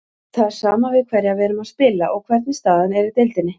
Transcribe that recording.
Það er sama við hverja við erum að spila og hvernig staðan er í deildinni.